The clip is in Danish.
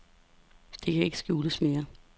Det kan ikke skjules mere.